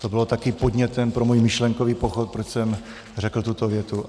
To bylo také podnětem pro můj myšlenkový pochod, proč jsem řekl tuto větu.